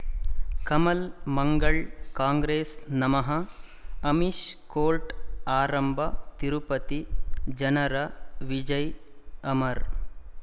ಕಮಲ್ ಮಂಗಳ್ ಕಾಂಗ್ರೆಸ್ ನಮಃ ಅಮಿಷ್ ಕೋರ್ಟ್ ಆರಂಭ ತಿರುಪತಿ ಜನರ ವಿಜಯ ಅಮರ್